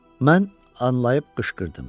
Mən anlayıb qışqırdım.